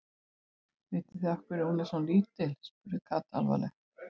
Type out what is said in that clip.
Vitið þið af hverju hún er svona lítil? spurði Kata alvarleg.